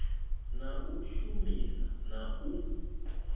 na u shumisa na u